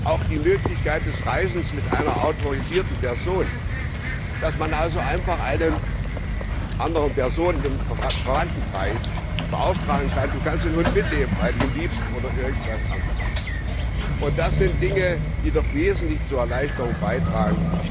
Auch die Möglichkeit des Reisens mit einer autorisierten Person, dass man also einfach eine andere Person im Verwandtenkreis beauftragen kann du kannst den Hund mitnehmen, weil du ihn liebst, oder irgendwas anderes das sind Dinge, die doch wesentlich zur Erleichterung beitragen.